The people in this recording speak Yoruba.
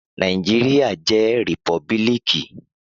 Naijiria jẹ rìpọ́bílíkì